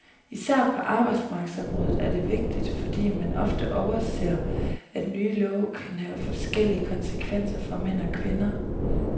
Især på arbejdsmarkedsområdet er det vigtigt, fordi man ofte overser, at nye love kan have forskellige konsekvenser for mænd og kvinder.